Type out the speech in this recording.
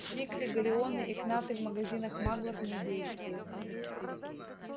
сикли галлеоны и кнаты в магазинах маглов не действуют